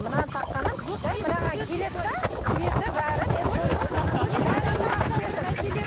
мынаны таққаным жай мынаған келеді де цветі бәрі